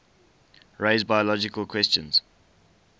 raise biological questions